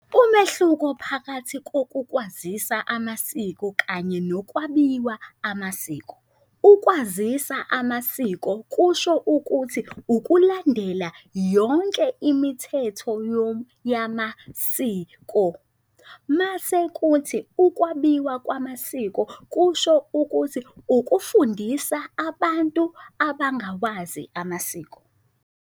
Umehluko phakathi kokukwazisa amasiko kanye nokwabiwa amasiko. Ukwazisa amasiko kusho ukuthi ukulandela yonke imithetho yamasiko. Mase kuthi ukwabiwa kwamasiko kusho ukuthi ukufundisa abantu abangawazi amasiko.